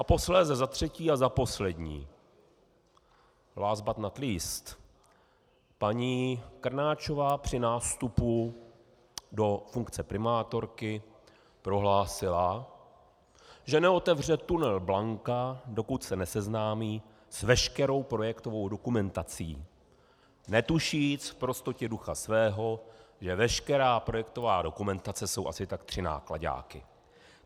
A posléze za třetí a za poslední, last but not least, paní Krnáčová při nástupu do funkce primátorky prohlásila, že neotevře tunel Blanka, dokud se neseznámí s veškerou projektovou dokumentací, netušíc v prostotě ducha svého, že veškerá projektová dokumentace jsou asi tak tři náklaďáky.